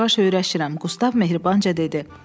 Yavaş-yavaş öyrəşirəm, Qustav mehribanca dedi.